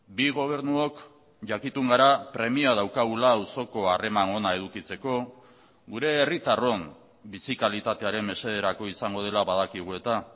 bi gobernuok jakitun gara premia daukagula auzoko harreman ona edukitzeko gure herritarron bizi kalitatearen mesederako izango dela badakigu eta